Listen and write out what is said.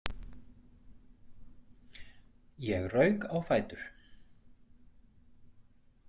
Ég rauk á fætur.